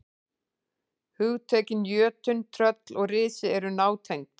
Hugtökin jötunn, tröll og risi eru nátengd.